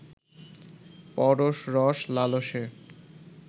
পরশ-রস-লালসে